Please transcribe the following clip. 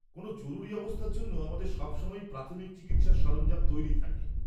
কোনও জরুরি অবস্থার জন্য আমাদের সবসময়ই প্রাথমিক চিকিৎসার সরঞ্জাম তৈরি থাকে।